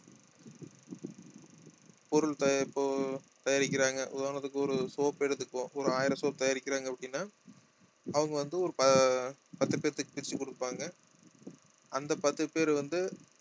பொருள் தயா~ இப்போ தயாரிக்கிறாங்க உதாரணத்துக்கு ஒரு soap எடுத்துக்குவோம் ஒரு ஆயிரம் soap தயாரிக்கிறாங்க அப்படின்னா அவங்க வந்து ஒரு ப~ பத்து பேர்த்துக்கு பிரிச்சு கொடுப்பாங்க அந்த பத்து பேர் வந்து